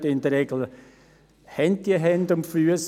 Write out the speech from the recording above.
Denn in der Regel haben diese Geschäfte Hand und Fuss.